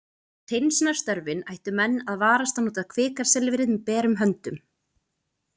Við hreinsunarstörfin ættu menn að varast að snerta kvikasilfrið með berum höndum.